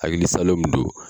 Hakilisalo min don